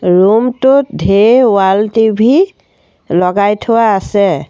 Room টোত ঢেৰ wall TV লগাই থোৱা আছে।